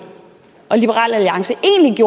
og liberal alliance